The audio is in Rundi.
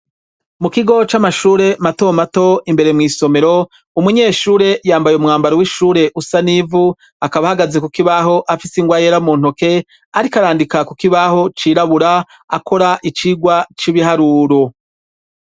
Mu kigo c'amashure mato mato imbere mw'isomero, umunyeshure yambaye umwambaro w'ishure usa n'ivu akaba ahagaze ku kibaho afise ingwa yera mu ntoke ariko arandika ku kibaho cirabura akora icigwa c'ibiharuro.